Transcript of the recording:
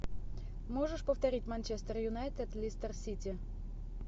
можешь повторить манчестер юнайтед лестер сити